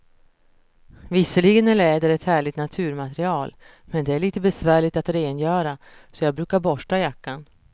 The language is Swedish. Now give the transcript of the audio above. Visserligen är läder ett härligt naturmaterial, men det är lite besvärligt att rengöra, så jag brukar borsta jackan.